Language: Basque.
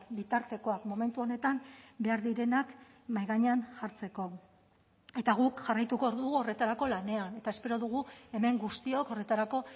bitartekoak momentu honetan behar direnak mahai gainean jartzeko eta guk jarraituko dugu horretarako lanean eta espero dugu hemen guztiok horretarako